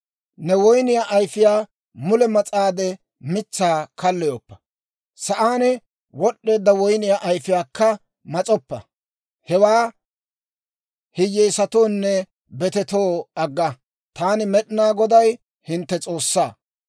Ne woyniyaa ayfiyaa mule mas'aade mitsaa kalloyoppa; sa'aan wod'd'eedda woyniyaa ayfiyaakka mas'oppa; hewaa hiyyeesatoonne betetoo agga. Taani, Med'inaa Goday, hintte S'oossaa.